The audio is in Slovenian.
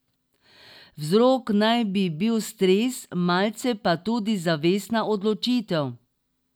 Vzrok naj bi bil stres, malce pa tudi zavestna odločitev.